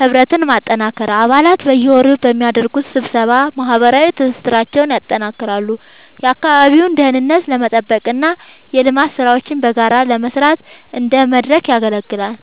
ህብረትን ማጠናከር፦ አባላት በየወሩ በሚያደርጉት ስብሰባ ማህበራዊ ትስስራቸውን ያጠናክራሉ፤ የአካባቢውን ደህንነት ለመጠበቅና የልማት ሥራዎችን በጋራ ለመስራት እንደ መድረክ ያገለግላል።